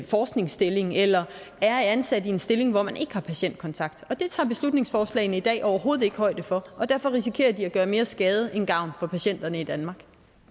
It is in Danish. forskningsstilling eller er ansat i en stilling hvor man ikke har patientkontakt det tager beslutningsforslagene i dag overhovedet ikke højde for og derfor risikerer de at gøre mere skade end gavn for patienterne i danmark